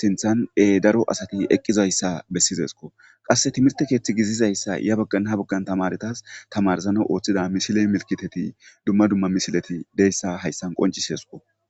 sinthan daro asati eqqizayssa bessizesko qasse timerte keeththi gizizayssa ya baggan ha baggan tamaretas tamarzana ooththida misile milkiteti dumma dumma misileti deyssa hayssan qonciseesko